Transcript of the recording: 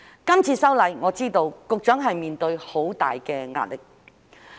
這次修例，我知局長面對很大的壓力。